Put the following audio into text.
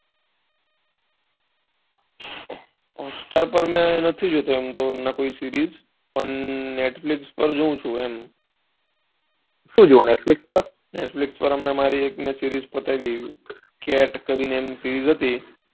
હમ અત્યારે તો હું નથી જોતો હમણાં કોઈક series પણ netflix પર જોઉં છું એમ સુ જોવો netflix પર netflix માંહમણાં મારી એક series પતાવી મેં કરીને એક series હતી.